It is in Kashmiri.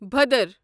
بھدر